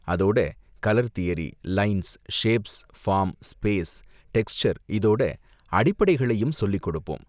அதோட colour theory, lines, shapes, form, space, texture இதோட அடிப்படைகளையும் சொல்லிக் கொடுப்போம்.